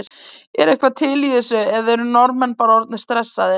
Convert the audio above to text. Er eitthvað til í þessu eða eru Norðmenn bara orðnir stressaðir?